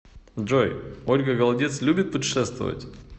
джой ольга голодец любит путешествовать